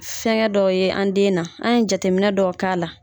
Fɛnkɛ dɔw ye an den na, an ye jateminɛ dɔ k'a la.